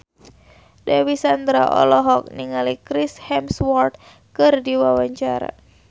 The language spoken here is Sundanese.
Dewi Sandra olohok ningali Chris Hemsworth keur diwawancara